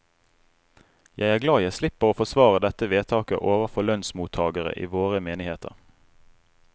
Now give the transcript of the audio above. Jeg er glad jeg slipper å forsvare dette vedtaket overfor lønnsmottagere i våre menigheter.